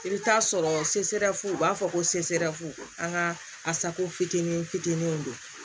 I bɛ taa sɔrɔ u b'a fɔ ko an ka asako fitinin fitininw don